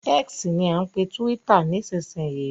X ni à ń pe túwítà nísìsiyìí